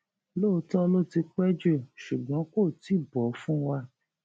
lóòótọ ló ti pẹ jù ṣùgbọn kò tí ì bọ fún wa